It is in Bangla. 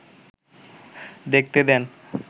দেখতে দেন।